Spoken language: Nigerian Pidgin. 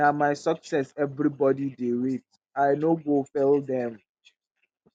na my success everybodi dey wait i no go fail dem.